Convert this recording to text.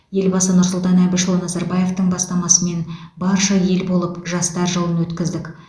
елбасы нұрсұлтан әбішұлы назарбаевтың бастамасымен барша ел болып жастар жылын өткіздік